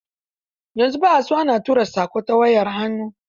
Yanzu ba a son tura saƙo ta wayar hannu.